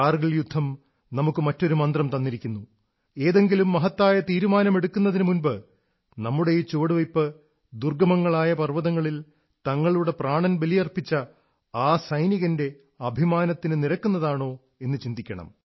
കാർഗിൽ യുദ്ധം നമുക്ക് മറ്റൊരു മന്ത്രം തന്നിരിക്കുന്നു ഏതെങ്കിലും മഹത്തായ തീരുമാനമെടുക്കുന്നതിനു മുമ്പ് നമ്മുടെ ഈ ചുവടുവയ്പ്പ് ദുർഗ്ഗമങ്ങളായ പർവ്വതങ്ങളിൽ തങ്ങളുടെ പ്രാണൻ ബലിയർപ്പിച്ച ആ സൈനികന്റെ അഭിമാനത്തിനു നിരക്കുന്നതാണോ എന്നു ചിന്തിക്കണം